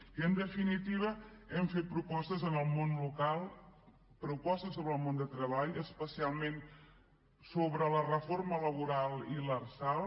i en definitiva hem fet propostes en el món local propostes sobre el món del treball especialment sobre la reforma laboral i l’arsal